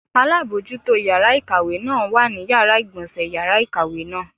Alábojútó yàrá ìkàwé náà wà ní Yàrá ìgbọ̀nsé yàrá ìkàwé náà.